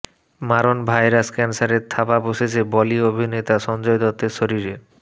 মারণ ভাইরাস ক্যান্সারের থাবা বসেছে বলি অভিনেতা সঞ্জয় দত্তের শরীরে